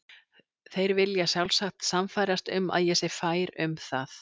Þeir vilja sjálfsagt sannfærast um að ég sé fær um það.